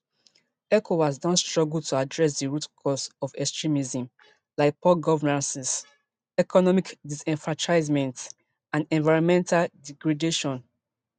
ecowas don struggle to address di root causes of extremism like poor governance economic disenfranchisement and environmental degradation